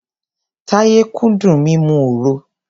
Táyé kúndùn mímu òro.